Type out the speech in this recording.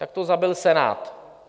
Tak to zabil Senát.